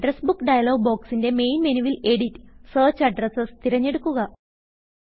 address Bookഡയലോഗ് ബോക്സി ന്റെ മെയിൻ മെനുവിൽ editസെർച്ച് അഡ്രസ്സ് തിരഞ്ഞെടുക്കുക